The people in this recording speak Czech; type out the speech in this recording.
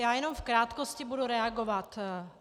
Já jenom v krátkosti budu reagovat.